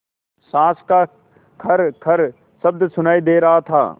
साँस का खरखर शब्द सुनाई दे रहा था